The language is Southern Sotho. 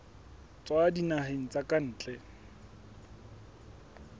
tswa dinaheng tsa ka ntle